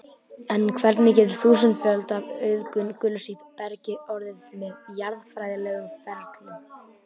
En hvernig getur þúsundföld auðgun gulls í bergi orðið með jarðfræðilegum ferlum?